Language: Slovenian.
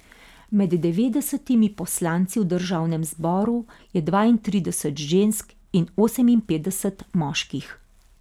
Med devetdesetimi poslanci v državnem zboru je dvaintrideset žensk in oseminpetdeset moških.